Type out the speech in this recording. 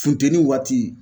Funteni waati